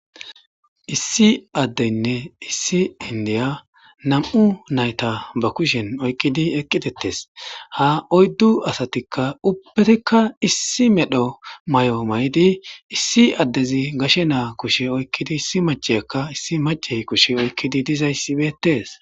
issi addeynne issi indiya nam7u nayta ba kushen oykkidi eqqi dettes ha oyddu asatikka ubbetikka issi medho may7o may7di issi addezi gashe naa kushe oykkidi issi macheyakka issi macey kushe oykkidi dizayssi beettes